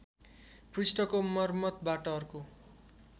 पृष्ठको मर्मतबाट अर्को